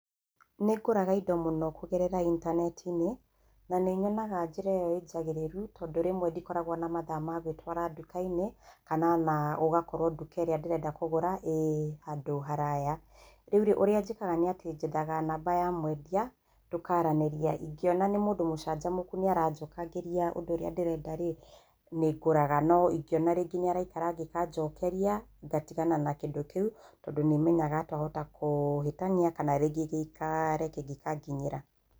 Nĩ ngũraga indo mũno kũgerera intaneti-inĩ, na nĩ nyonaga njĩra ĩyo injagĩrĩru tondũ rĩmwe ndikoragwo na mathaa ma gũĩtũara nduka-inĩ, kana ona ngakorwo nduka ĩrĩa ndĩrenda kũgũra ĩ handũ haraya. Rĩu rĩ ũrĩa njĩkaga, njethaga namba ya mwendia, tũkaranĩria, ingĩona nĩ mũndũ mũcanjamũku na nĩ aranjokeria ũrĩa ndĩrenda rĩ, nĩ ngũraga. No ingĩona nĩ araikara angĩkanjokeria, ngatigana na kĩndũ kĩũ tondũ nĩ kenyaga twahota kũhĩtania kana rĩngĩ gĩikaare kĩngĩkanginyĩra.